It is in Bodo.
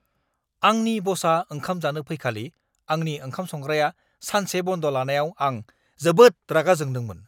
आंनि बसआ ओंखाम जानो फैखालि आंनि ओंखाम-संग्राया सानसे बन्द लानायाव आं जोबोद रागा जोंदोंमोन।